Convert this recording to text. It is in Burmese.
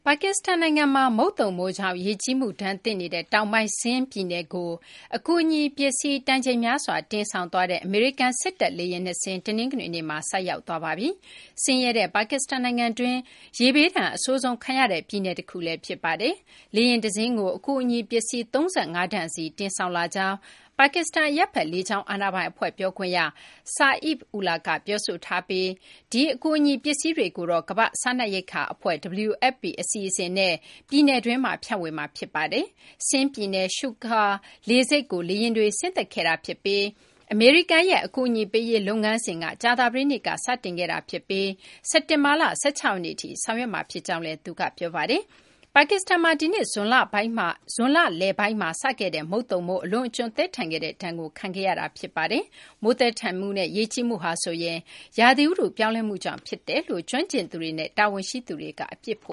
ါကစ္စတန်နိုင်ငံမှာ မုတ်သုန်မိုးကြောင့် ရေကြီးမှုဒဏ်သင့်နေတဲ့ တောင်ပိုင်း Sindh ပြည်နယ်ကို အကူအညီ ပစ္စည်း တန်ချိန်များစွာ တင်ဆောင်သွားတဲ့ အမေရိကန် စစ်တပ် လေယာဉ် နှစ်စင်း တနင်္ဂနွေနေ့မှာ ဆိုက်ရောက်သွားပါပြီ။ ဆင်းရဲတဲ့ ပါကစ္စတန် နိုင်ငံတွင်း ရေဘေးဒဏ် အဆိုးဆုံး ခံရတဲ့ ပြည်နယ် တခုလည်း ဖြစ်ပါတယ်။ လေယာဉ် တစင်းကို အကူအညီ ပစ္စည်း ၃၅ တန်စီ တင်ဆောင်လာကြောင်း ပါကစ္စတန် အရပ်ဘက် လေကြောင်း အာဏာပိုင် အဖွဲ့ ပြောခွင့်ရ Saif Ullah က ပြောဆိုထားပြီး ဒီ အကူအညီ ပစ္စည်းတွေကိုတော့ ကမ ္ဘာ့စားနပ်ရိက္ခာ အဖွဲ့ WFP အစီအစဉ်နဲ့ ပြည်နယ်တွင်းမှာ ဖြန့်ဝေမှာ ဖြစ်ပါတယ်။ Sindh ပြည်နယ် Sukkur လေဆိပ်ကို လေယာဉ်တွေ ဆင်းသက်ခဲ့တာ ဖြစ်ပြီး အမေရိကန်ရဲ့ အကူအညီ ပေးရေး လုပ်ငန်းစဉ်က ကြာသပတေးနေ့က စတင်ခဲ့တာ ဖြစ်ပြီး စက်တင်ဘာလ ၁၆ ရက်နေ့ထိ ဆောင်ရွက်မှာ ဖြစ်ကြောင်းလည်း သူက ပြောပါတယ်။ ပါကစ္စတန်မှာ ဒီနှစ် ဇွန်လလပိုင်းမှာ စခဲ့တဲ့ မုတ်သုန်မိုး အလွန်အကျွံ သည်းထန်ခဲ့တဲ့ ဒဏ်ကို ခံခဲ့ရတာ ဖြစ်ပါတယ်။ မိုးသည်းထန်မှုနဲ့ ရေကြီးမှုဟာဆိုရင် ရာသီဥတု ပြောင်းလဲမှုကြောင့် ဖြစ်တယ်လို့ ကျွမ်းကျင်သူတွေနဲ့ တာဝန်ရှိသူတွေက အပြစ်ဖ